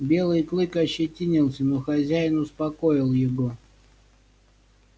белый клык ощетинился но хозяин успокоил его